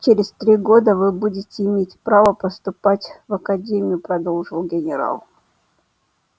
через три года вы будете иметь право поступать в академию продолжал генерал